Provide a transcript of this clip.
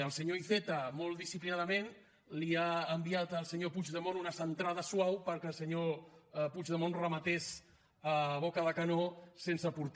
el senyor iceta molt disciplinadament li ha enviat al senyor puigdemont una centrada suau perquè el senyor puigdemont rematés a boca de canó sense porter